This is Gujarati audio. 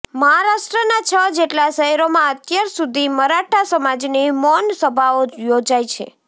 મહારાષ્ટ્રના છ જેટલા શહેરોમાં અત્યાર સુધી મરાઠા સમાજની મૌન સભાઓ યોજાઈ છે